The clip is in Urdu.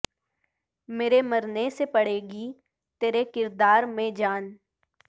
میرے مرنے سے پڑے گی ترے کردار میں جان